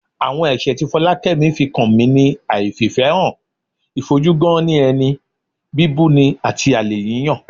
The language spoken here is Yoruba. Àwọn ẹ̀ṣẹ̀ ti Fọlákẹ́mi fi kan mi ni àìfìfẹ́hàn, ìfojú-gán-ní-ẹni, bíbuni àti àlè yíyàn